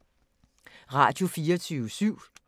Radio24syv